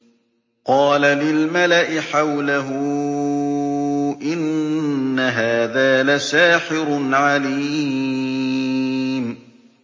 قَالَ لِلْمَلَإِ حَوْلَهُ إِنَّ هَٰذَا لَسَاحِرٌ عَلِيمٌ